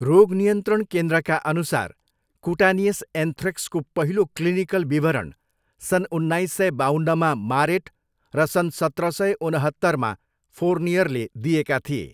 रोग नियन्त्रण केन्द्रका अनुसार कुटानियस एन्थ्रेक्सको पहिलो क्लिनिकल विवरण सन् उन्नाइस सय बाउन्नमा मारेट र सन् सत्र सय उनहत्तरमा फोर्नियरले दिएका थिए।